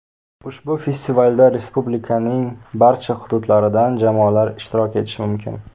Ushbu festivalda Respublikaning barcha hududlaridan jamoalar ishtirok etishi mumkin.